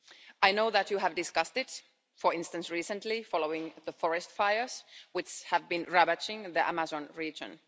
I know that you have discussed it for instance, recently, following the forest fires which have been ravaging the Amazon region.